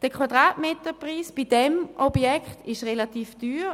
Der Quadratmeterpreis bei diesem Objekt ist relativ teuer.